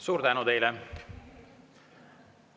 Suur tänu teile!